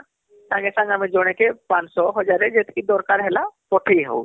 ସାଙ୍ଗେ ସାଙ୍ଗେ ଆମେ ଜଣେକେ ୫୦୦ ୧୦୦୦ ଯେତକି ହେଲା ପଠେଇ ହଉଛି